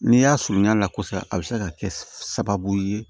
N'i y'a surunya a la kosɛbɛ a bɛ se ka kɛ sababu ye